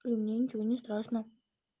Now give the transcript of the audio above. и мне ничего не страшно